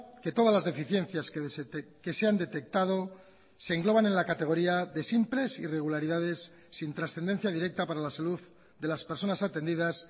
que todas las deficiencias que se han detectado se engloban en la categoría de simples irregularidades sin trascendencia directa para la salud de las personas atendidas